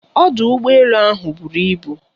Ọdụ ụgbọ elu ahụ buru ibu.